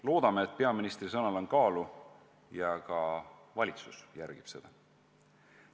Loodame, et peaministri sõnal on kaalu ja ka valitsus järgib seda.